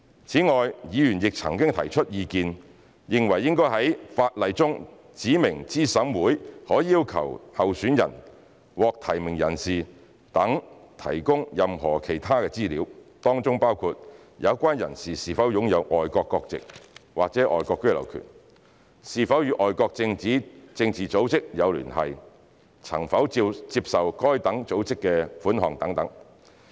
此外，議員曾提出意見，認為應在法例中指明資審會可要求候選人、獲提名人等提供任何其他資料，當中包括有關人士是否擁有外國國籍或外國居留權、是否與外國政治組織有聯繫、曾否接受該等組織的款項等。